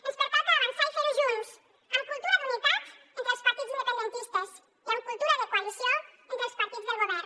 ens pertoca avançar i ferho junts amb cultura d’unitat entre els partits independentistes i amb cultura de coalició entre els partits del govern